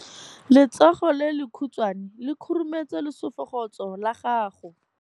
Letsogo le lekhutshwane le khurumetsa lesufutsogo la gago.